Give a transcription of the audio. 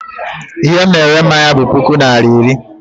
I he m na-ere mmanya m bụ puku naira iri.